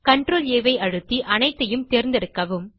CTRLA ஐ அழுத்தி அனைத்தையும் தேர்ந்தெடுக்கவும்